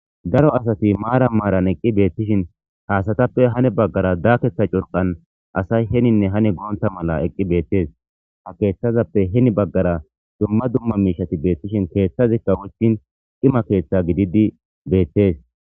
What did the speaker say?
Daro asati maara maaran eqqi beettishin haasatappe hane baggara daaketha curqan asay heninne hani goonta mala eqqi beettes ha keeththazappe heni baggara dumma dumma miishati beettishin keeththazikka woystin ima keeththa gididi beettes.